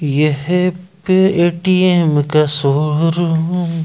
ये एटीएम का शोरूम--